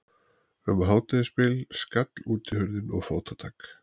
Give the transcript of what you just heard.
Um hádegisbil skall útihurðin og fótatak